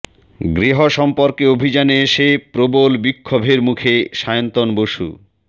গৃহ সম্পর্ক অভিযানে এসে প্রবল বিক্ষোভের মুখে সায়ন্তন বসু